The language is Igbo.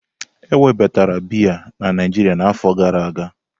Ewebatara bịyà na Naijiria na afọ gara aga.